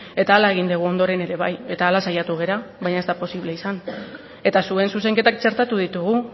eta hala egin dugu ondoren ere bai eta hala saiatu gara baina ez da posible izan eta zuen zuzenketak txertatu ditugu